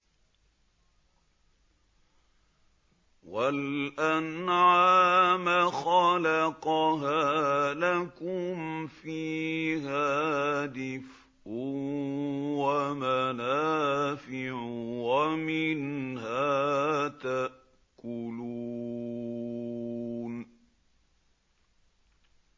وَالْأَنْعَامَ خَلَقَهَا ۗ لَكُمْ فِيهَا دِفْءٌ وَمَنَافِعُ وَمِنْهَا تَأْكُلُونَ